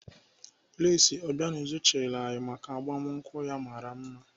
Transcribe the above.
Lesị Obianuju chịrị anyị maka agbamakwụkwọ ya mara mma.